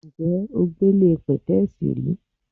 Ǹjé̩ o gbéle pè̩té̩è̩sì rí?